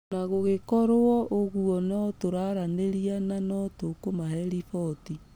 Ũna gũgĩkorwo ũgua nĩtũraaranĩria na ...na nĩtũkũmahe riboti.